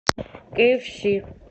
киэфси